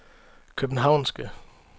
københavnske